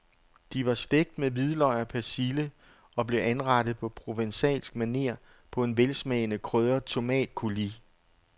De var stegt med hvidløg og persille og blev anrettet på provencalsk maner på en velsmagende krydret tomatcoulis.